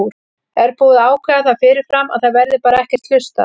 Er búið að ákveða það fyrirfram að það verði bara ekkert hlustað?